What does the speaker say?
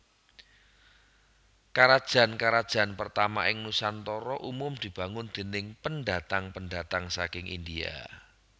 Karajan karajan pertama ing Nusantara umum dibangun déning pendatang pendatang saking India